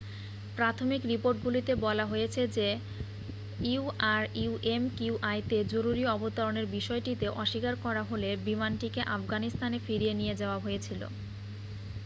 প্রাথমিক রিপোর্টগুলিতে বলা হয়েছে যে ürümqi-তে জরুরি অবতরণের বিষয়টিতে অস্বীকার করা হলে বিমানটিকে আফগানিস্তানে ফিরিয়ে নিয়ে যাওয়া হয়েছিল।